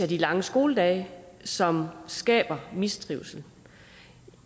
de lange skoledage som skaber mistrivsel